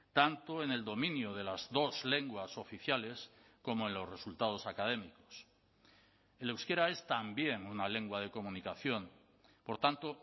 tanto en el dominio de las dos lenguas oficiales como en los resultados académicos el euskera es también una lengua de comunicación por tanto